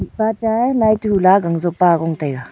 mihpa cha a lai toh hu lah a gan jop a gon tai a.